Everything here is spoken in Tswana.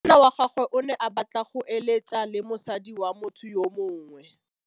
Monna wa gagwe o ne a batla go êlêtsa le mosadi wa motho yo mongwe.